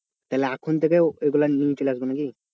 তাহলে এখন থেকে ওইগুলা নিয়ে চলে আসবো নাকি?